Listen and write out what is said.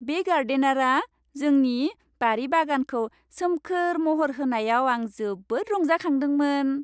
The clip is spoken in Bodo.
बे गार्डेनारआ जोंनि बारि बागानखौ सोमखोर महर होनायाव आं जोबोद रंजाखांदोंमोन।